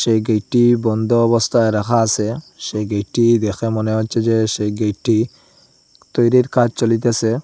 যেই গেটটি বন্ধ অবস্থায় রাখা আসে সেই গেটটি দেখে মনে হচ্ছে যে সেই গেটটি তৈরির কাজ চলিতেসে।